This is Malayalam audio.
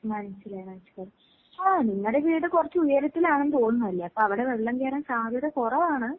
മനസിലായി, മനസിലായി. ആഹ് നിങ്ങടെ വീട് കൊറച്ച് ഉയരത്തിലാണെന്ന് തോന്നുന്നു അല്ലേ. അപ്പൊ അവിടെ വെള്ളം കേറാൻ സാധ്യത കൊറവാണ്.